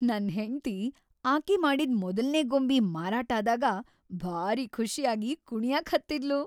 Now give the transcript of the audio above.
ನನ್‌ ಹೆಂಡ್ತಿ ಆಕಿ ಮಾಡಿದ್ ಮೊದಲ್ನೇ ಗೊಂಬಿ ಮಾರಾಟ್‌ ಆದಾಗ ಭಾರೀ ಖುಷ್ಯಾಗಿ ಕುಣ್ಯಾಕ್‌ ಹತ್ತಿದ್ಲು.